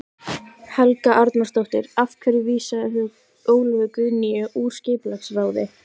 Helga Arnardóttir: Af hverju vísaðir þú Ólöfu Guðnýju úr skipulagsráði?